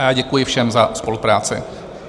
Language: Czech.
A já děkuji všem za spolupráci.